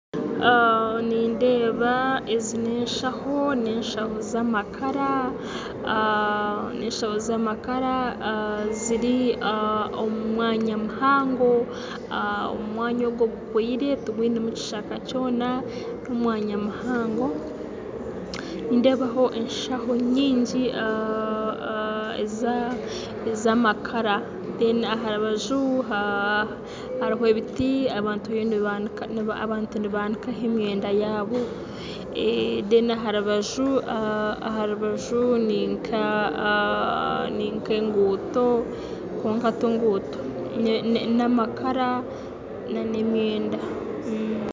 Nindeeba ezi ninshaho z'amakara ziri omu mwanya muhango omwanya ogu gukwire tigwinemu ekishaka kyona n'omwanya muhango nindebaho enshaho nyingi ez'amakara aha rubaju hariyo ebiti abantu nibanikaho emyenda yaabo kandi aha rubaju ni nk'enguto kwonka tinguuto n'amakara n'emyenda